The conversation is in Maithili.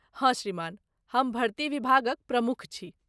हँ श्रीमान, हम भर्ती विभागक प्रमुख छी।